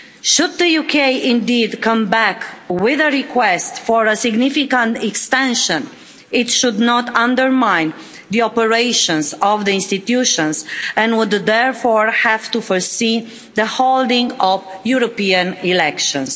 Should the UK indeed come back with a request for a significant expansion, it should not undermine the operations of the institutions and would therefore have to foresee the holding of the European elections.